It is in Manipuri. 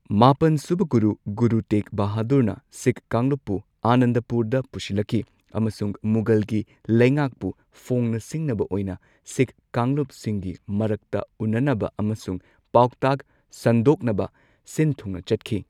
ꯃꯥꯄꯟ ꯁꯨꯕ ꯒꯨꯔꯨ, ꯒꯨꯔꯨ ꯇꯦꯒ ꯕꯍꯥꯗꯨꯔꯅ ꯁꯤꯈ ꯀꯥꯡꯂꯨꯞꯄꯨ ꯑꯥꯅꯟꯗꯄꯨꯔꯗ ꯄꯨꯁꯤꯜꯂꯛꯈꯤ ꯑꯃꯁꯨꯡ ꯃꯨꯘꯜꯒꯤ ꯂꯩꯉꯥꯛꯄꯨ ꯐꯣꯡꯅ ꯁꯤꯡꯅꯕ ꯑꯣꯏꯅ ꯁꯤꯈ ꯀꯥꯡꯂꯨꯞꯁꯤꯡꯒꯤ ꯃꯔꯛꯇ ꯎꯟꯅꯅꯕ ꯑꯃꯁꯨꯡ ꯄꯥꯎꯇꯥꯛ ꯁꯟꯗꯣꯛꯅꯕ ꯁꯤꯟ ꯊꯨꯡꯅ ꯆꯠꯈꯤ꯫